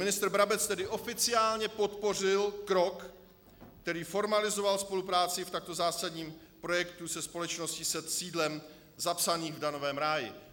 Ministr Brabec tedy oficiálně podpořil krok, který formalizoval spolupráci v takto zásadním projektu se společností se sídlem zapsaným v daňovém ráji.